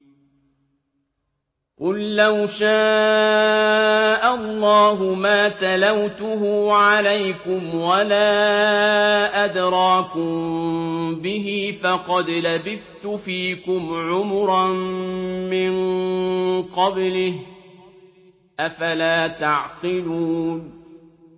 قُل لَّوْ شَاءَ اللَّهُ مَا تَلَوْتُهُ عَلَيْكُمْ وَلَا أَدْرَاكُم بِهِ ۖ فَقَدْ لَبِثْتُ فِيكُمْ عُمُرًا مِّن قَبْلِهِ ۚ أَفَلَا تَعْقِلُونَ